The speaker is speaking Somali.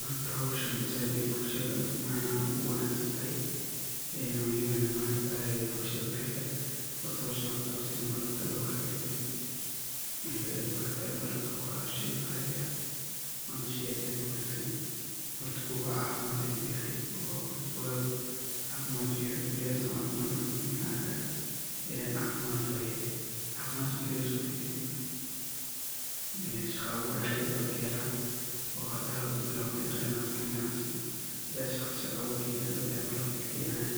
Hoorta hooshan saait bulshada macanaha saait ugu wanagsantahay, ee walibana maargtahay ee bulshadaha kali horta hooshan malab, lagu hagajeeyoh, ee maargtahay malabka wa sheey Qaali ah, Wana sheey aad iyo aad u Wangsan hoorta know cafimad ayu yahay koleey Anika setha u arkoh ee cafimad waye, cafimad marki laga so tagoh akdib nah shaqoo abuur aad u bathan kaheelan, oo hadaw bilawathoh kanacseet shaqoo Aya malabka ka keenayiin